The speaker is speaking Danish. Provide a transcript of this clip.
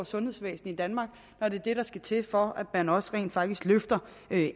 sundhedsvæsenet i danmark når det er det der skal til for at man også rent faktisk løfter